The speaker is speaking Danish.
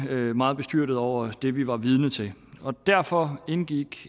meget bestyrtet over det vi var vidne til derfor indgik